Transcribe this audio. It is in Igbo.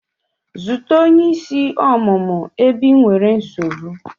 Zute onye isi ọmụmụ ebe ị nwere nsogbu!